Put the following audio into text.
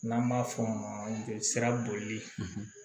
N'an b'a f'o ma sira boli